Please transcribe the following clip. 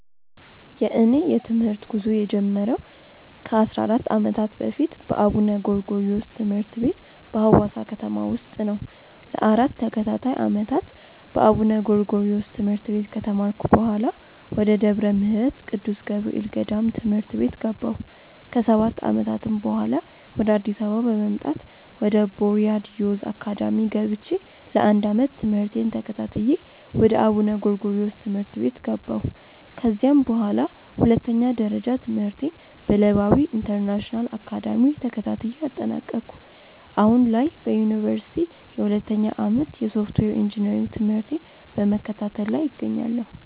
የእኔ የትምህርት ጉዞ የጀመረው ከ 14 ዓመታት በፊት በአቡነ ጎርጎሪዎስ ትምህርት ቤት በሀዋሳ ከተማ ውስጥ ነው። ለ 4 ተከታታይ ዓመታት በአቡነ ጎርጎሪዮስ ትምህርት ቤት ከተማርኩ በኃላ፣ ወደ ደብረ ምህረት ቅዱስ ገብርኤል ገዳም ትምህርት ቤት ገባሁ። ከ 7 ዓመታትም በኃላ፣ ወደ አዲስ አበባ በመምጣት ወደ ቦርያድ ዮዝ አካዳሚ ገብቼ ለ 1 ዓመት ትምህርቴን ተከታትዬ ወደ አቡነ ጎርጎሪዮስ ትምህርት ቤት ገባሁ። ከዚያም በኃላ ሁለተኛ ደረጃ ትምህርቴን በለባዊ ኢንተርናሽናል አካዳሚ ተከታትዬ አጠናቀኩ። አሁን ላይ በዮኒቨርሲቲ የሁለተኛ ዓመት የሶፍትዌር ኢንጂነሪንግ ትምህርቴን በመከታተል ላይ እገኛለሁ።